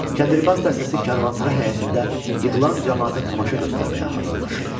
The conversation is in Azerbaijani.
Kəndirbaz dəstəsi karvansara həyətində yığılan camaata tamaşa göstərməyə hazırlaşırdı.